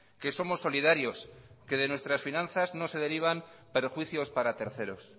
que somos solidarios que de nuestras finanzas no se derivan perjuicios para terceros